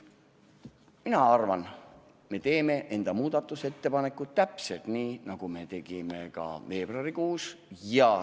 Mina arvan, et me teeme muudatusettepanekuid täpselt nii, nagu me tegime ka veebruarikuus.